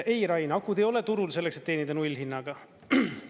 Ei, Rain, akud ei ole turul selleks, et teenida nullhinnaga.